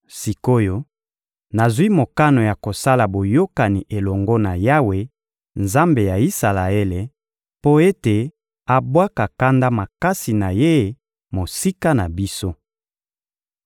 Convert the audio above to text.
Sik’oyo, nazwi mokano ya kosala boyokani elongo na Yawe, Nzambe ya Isalaele, mpo ete abwaka kanda makasi na Ye mosika na biso.